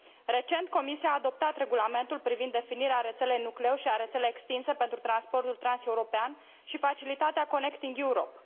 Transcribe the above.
Recent, Comisia a adoptat Regulamentul privind definirea rețelei nucleu și a rețelei extinse pentru transportul transeuropean și facilitatea Connecting Europe